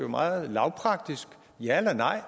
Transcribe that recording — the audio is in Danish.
meget lavpraktisk ja eller nej